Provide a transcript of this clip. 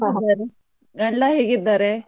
ಗಂಡ ಹೇಗಿದ್ದಾರೆ?